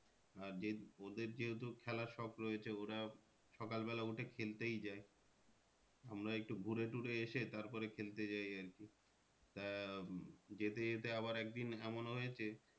আর যে ওদের যেহেতু খেলার সব রয়েছে ওরা সকালবেলা উঠে খেলতেই যায়। আমরা একটু ঘুরেটুরে এসে তারপরে খেলতে যাই আর কি তা যেতে যেতে আবার একদিন এমন হয়েছে